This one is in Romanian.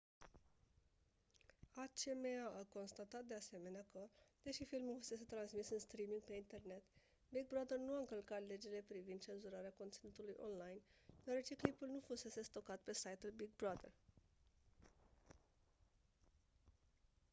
acma a constatat de asemenea că deși filmul fusese transmis în streaming pe internet big brother nu a încălcat legile privind cenzurarea conținutului online deoarece clipul nu fusese stocat pe site-ul big brother